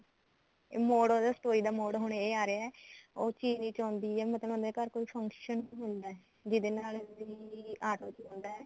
ਇਹ ਮੋੜ ਹੁਣ story ਦਾ ਮੋੜ ਹੁਣ ਇਹ ਆ ਰਿਹਾ ਉਹ ਚਿਰੀ ਚਾਹੁੰਦੀ ਐ ਮਤਲਬ ਉਹਨਾਂ ਦੇ ਘਰ ਕੋਈ function ਹੁੰਦਾ ਜਿਹਦੇ ਨਾਲ ਚਿਰੀ ਆਟੋ ਤੇ ਹੁੰਦਾ